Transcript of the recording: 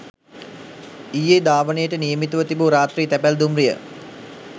ඊයේධාවනයට නියමිතව තිබූ රාත්‍රී තැපැල් දුම්රිය